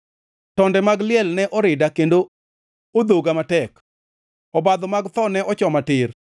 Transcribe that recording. Tonde mag liel ne orida kendo odhoga matek; obadho mag tho ne ochoma tir.